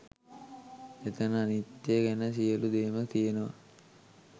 එතන අනිත්‍යය ගැන සියලු දේම තියෙනවා